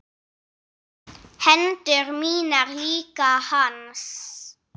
Hendur mínar líka hans.